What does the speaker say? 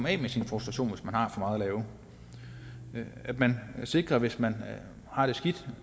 af med sin frustration hvis man har for meget at lave at man er sikker på hvis man har det skidt